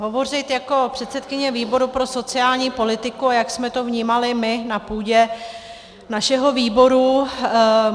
Hovořit jako předsedkyně výboru pro sociální politiku, a jak jsme to vnímali my na půdě našeho výboru.